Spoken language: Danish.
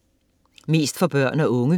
Mest for børn og unge